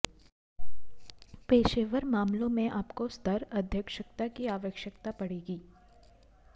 पेशेवर मामलों में आपको स्तर अध्यक्षता की अवश्यकता पड़ेगी